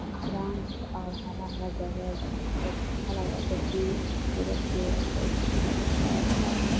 Ground है और हरा-हरा जगह भी है। बहुत अच्छा लग रहा है देखने में। खूबसूरत भी है। बहुत सुन्दर लग रहा है यहाँ पर।